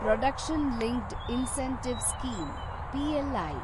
production linked incentive scheme (PLI)